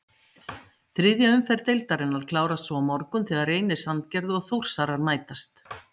Þriðja umferð deildarinnar klárast svo á morgun þegar Reynir Sandgerði og Þórsarar mætast.